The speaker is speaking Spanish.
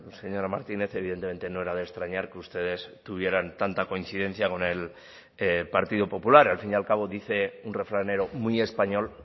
señora martínez evidentemente no era de extrañar que ustedes tuvieran tanta coincidencia con el partido popular al fin y al cabo dice un refranero muy español